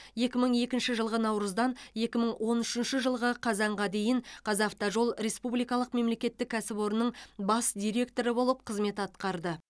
екі мың екінші жылғы наурыздан екі мың он үшінші жылғы қазанға дейін қазавтожол республикалық мемлекеттік кәсіпорынның бас директоры болып қызмет атқарды